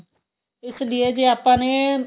ਇਸ ਲਈਏ ਜੇ ਆਪਾਂ ਨੇ